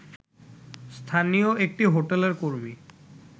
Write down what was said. স্থানীয় একটি হোটেলের কর্মী